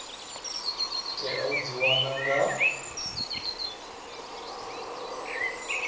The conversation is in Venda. tea u dzi wana nga